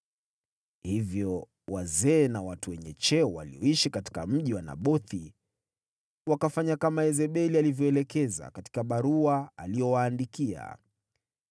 Hivyo wazee na watu wenye cheo walioishi katika mji wa Nabothi wakafanya kama Yezebeli alivyoelekeza katika barua aliyowaandikia.